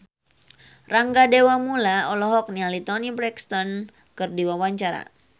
Rangga Dewamoela olohok ningali Toni Brexton keur diwawancara